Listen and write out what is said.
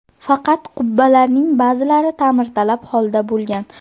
Faqat qubbalarning ba’zilari ta’mirtalab holda bo‘lgan.